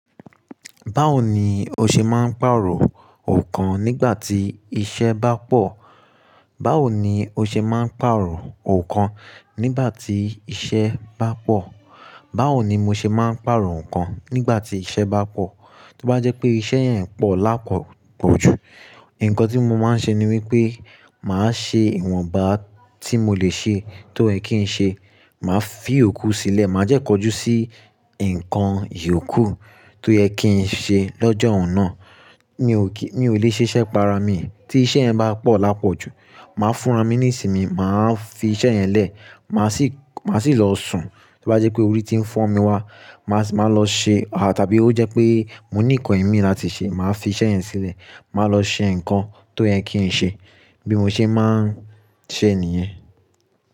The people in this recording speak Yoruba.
Báwo ni o ṣe máa ń pàrọ̀ nǹkan nígbà tí iṣẹ́ bá pọ̀? Báwo ni o ṣe máa ń pàrọ̀ nǹkan nígbà tí iṣẹ́ bá pọ̀? Báwo ni mo ṣe máa ń pàrọ̀ nǹkan nígbà tí iṣẹ́ bá pọ̀? Tí ó bá jẹ́ pé iṣẹ́ yẹn ń pọ̀ lápọ̀ pọ̀jù, nǹkan tí mo máa ń ṣe ni wípé màá ṣe ìwọ̀nba tí mo lè ṣe tó yẹ̀ kín ṣe, màá fi iyòkú sílẹ̀, màá dẹ́ kọjú sí nǹkan ìyòkú tó yẹ̀ kín ṣe lọ́jọ́un náà. Mi ò lè ṣiṣẹ́ para mi. Tí iṣẹ́ bá pọ̀ lápọ̀ jù, màá fúnramí nísìmi, màá fi iṣẹ́ yẹn lẹ̀, màá sì lọ sùn. Tí ó bá jẹ́ pé orí ti ń fọ́ mi wá, màá lọ ṣe a tàbí ó jẹ́ pé mo ní nǹkan imí láti ṣe, màá fi iṣẹ́ yẹn sílẹ̀, màá lọ ṣe nǹkan tó yẹ̀ kín ṣe bí mo ṣe máa ń ṣe nìyen.